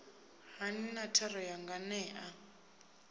hani na thero ya nganea